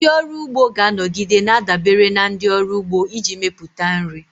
Ndị ọrụ ugbo ga-anọgide na-adabere na ndị ọrụ ugbo iji mepụta nri.